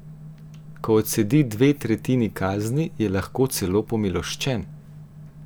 Ko odsedi dve tretjini kazni, je lahko celo pomiloščen!